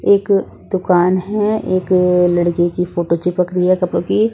एक दुकान हैं एक लड़के की फोटो चिपक रही हैं कपड़ों की--